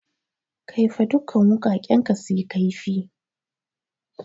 Kaifa dukan wuƙaƙen ka suyi kaifi!